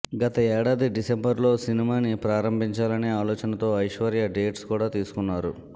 గత ఏడాది డిసెంబర్లో సినిమాను ప్రారంభించాలనే ఆలోచనతో ఐశ్వర్య డేట్స్ కూడా తీసుకున్నారు